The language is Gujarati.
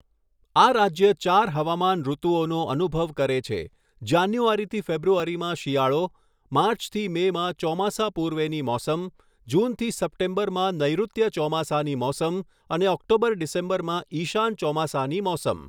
આ રાજ્ય ચાર હવામાન ઋતુઓનો અનુભવ કરે છેઃ જાન્યુઆરીથી ફેબ્રુઆરીમાં શિયાળો, માર્ચથી મેમાં ચોમાસા પૂર્વેની મોસમ, જૂનથી સપ્ટેમ્બરમાં નૈઋત્ય ચોમાસાની મોસમ અને ઓક્ટોબર ડિસેમ્બરમાં ઈશાન ચોમાસાની મોસમ.